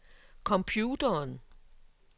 computeren